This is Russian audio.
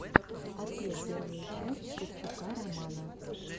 открой первую часть шевчука романа